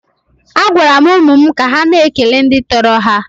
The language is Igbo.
A gwara m ụmụ m ka ha na-ekele ndị tọrọ ha.